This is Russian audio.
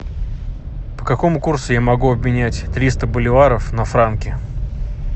по какому курсу я могу обменять триста боливаров на франки